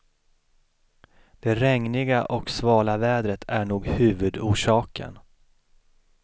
Det regniga och svala vädret är nog huvudorsaken.